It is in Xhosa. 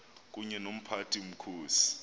kunye nomphathi mkhosi